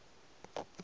kote o be a re